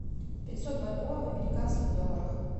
пятьсот бальбоа в американских долларах